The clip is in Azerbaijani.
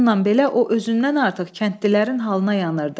Bununla belə o özündən artıq kəndlilərin halına yanırdı.